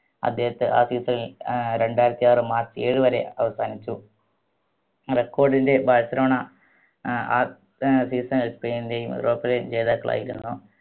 അദ്ദേഹത്തെ ആ season ൽ ഏർ രണ്ടായിരത്തി ആറ് മാർച്ച് ഏഴ് വരെ അവസാനിച്ചു record ൻറെ ബാഴ്‌സലോണ ഏർ ആ season ൽ സ്പെയിനിന്റെയും ജേതാക്കളായിരുന്നു